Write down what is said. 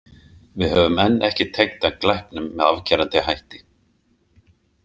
Við höfum enn ekki tengt hann glæpnum með afgerandi hætti.